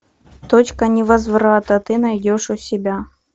точка невозврата ты найдешь у себя